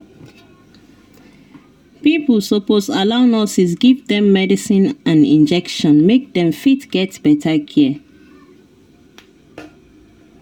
pipo suppose allow nurses give them medicine and injection make them fit get better care